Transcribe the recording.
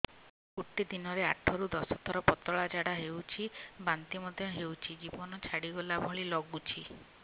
ଗୋଟେ ଦିନରେ ଆଠ ରୁ ଦଶ ଥର ପତଳା ଝାଡା ହେଉଛି ବାନ୍ତି ମଧ୍ୟ ହେଉଛି ଜୀବନ ଛାଡିଗଲା ଭଳି ଲଗୁଛି